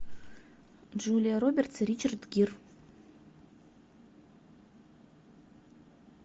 джулия робертс и ричард гир